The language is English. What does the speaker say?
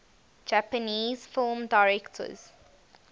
japanese film directors